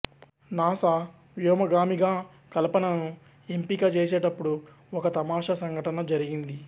NASA వ్యోమగామిగా కల్పనను ఎంపిక చేసేటప్పుడు ఒక తమాషా సంఘటన జరిగింది